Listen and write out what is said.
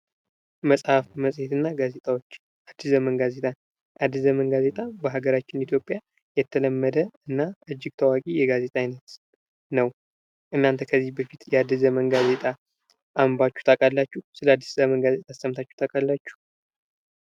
መጽሐፍት፣ መፅሄት እና ጋዜጦች ፦ አዲስ ዘመን ጋዜጣ ፦ አዲስ ዘመን ጋዜጣ በሀገራችን ኢትዮጵያ የተለመደ እና እጅግ ታዋቂ የጋዜጣ አይነት ነው ። እናንተ ከዚህ በፊት የአዲስ ዘመን ጋዜጣ አንብባችሁ ታውቃላችሁ ? ስለ አዲስ ዘመን ጋዜጣስ ሰምታችሁ ታውቃላችሁ ?